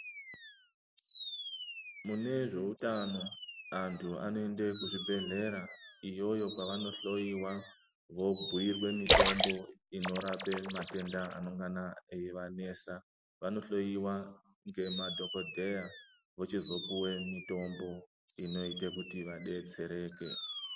Mune zveutano antu anoende kuzvibhehlera iyoyo kwavanohloiwa vobhirwe mutombo yematenda avanengana eivanesa .Vonohloiwa ngemadhokodheya ,vochizopuwe mutombo inoite kuti vadetsereke.